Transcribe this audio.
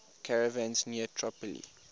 caravans near tripoli